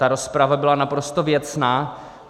Ta rozprava byla naprosto věcná.